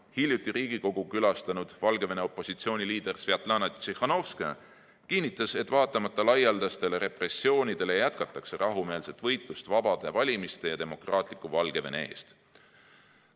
Hiljuti Riigikogu külastanud Valgevene opositsiooni liider Svjatlana Tsihhanovskaja kinnitas, et vaatamata laialdastele repressioonidele, jätkatakse rahumeelset võitlust vabade valimiste ja demokraatliku Valgevene eest.